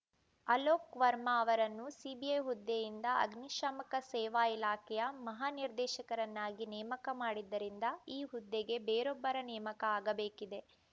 ಅಲೋಕ್‌ ವರ್ಮಾ ಅವರನ್ನು ಸಿಬಿಐ ಹುದ್ದೆಯಿಂದ ಅಗ್ನಿಶಾಮಕ ಸೇವಾ ಇಲಾಖೆಯ ಮಹಾನಿರ್ದೇಶಕರನ್ನಾಗಿ ನೇಮಕ ಮಾಡಿದ್ದರಿಂದ ಈ ಹುದ್ದೆಗೆ ಬೇರೊಬ್ಬರ ನೇಮಕ ಆಗಬೇಕಿದೆ